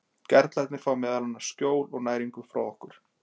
Gerlarnir fá meðal annars skjól og næringu frá okkur.